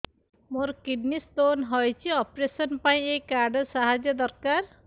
ମୋର kidney stone ହଇଛି operation ପାଇଁ ଏହି କାର୍ଡ ର ସାହାଯ୍ୟ ଦରକାର